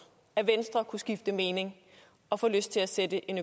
at venstre kunne skifte mening og få lyst til at sætte en